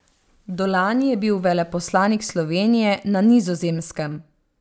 Do lani je bil veleposlanik Slovenije na Nizozemskem.